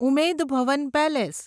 Umaid Bhawan palace